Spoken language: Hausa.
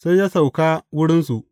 Sai ya sauka wurinsu.